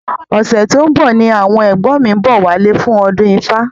Ọ̀sẹ̀ tó ń bọ̀ ni àwọn ẹ̀gbọ́n mi ń bọ̀ wálé fún ọdún ifá